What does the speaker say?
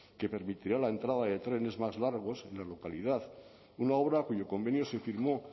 que permitiría la entrada de trenes más largos en la localidad una obra cuyo convenio se firmó